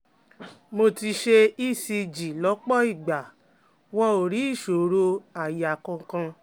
Mo ti ṣe ECG lọ́pọ̀ ìgbà wọn ò rí ìṣòro àyà kankan